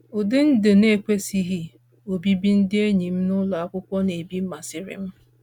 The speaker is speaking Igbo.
Ụdị ndụ na-ekwesịghị obibi ndị enyi m nụlọ akwụkwọ na-ebi masịrị m.